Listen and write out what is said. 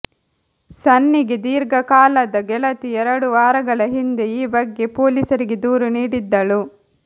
ಸನ್ನಿಗೆ ದೀರ್ಘಕಾಲದ ಗೆಳತಿ ಎರಡು ವಾರಗಳ ಹಿಂದೆ ಈ ಬಗ್ಗೆ ಪೊಲೀಸರಿಗೆ ದೂರು ನೀಡಿದ್ದಳು